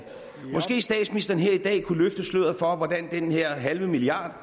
måske kunne statsministeren her i dag løfte sløret for hvordan den her halve milliard